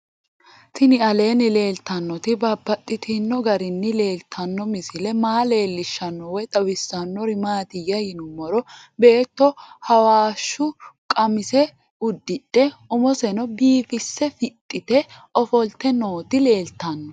Tinni aleenni leelittannotti babaxxittinno garinni leelittanno misile maa leelishshanno woy xawisannori maattiya yinummoro beetto hawashshu qamise udidhe umosenno biiffisse fixxitte offolitte nootti leelittanno